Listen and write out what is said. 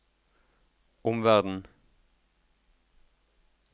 omverden